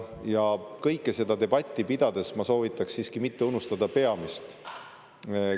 Aga seda debatti pidades ma soovitaks siiski mitte unustada peamist.